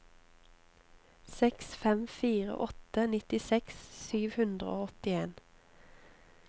seks fem fire åtte nittiseks sju hundre og åttien